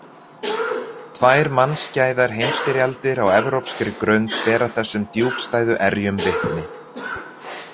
Tvær mannskæðar heimsstyrjaldir á evrópskri grund bera þessum djúpstæðu erjum vitni.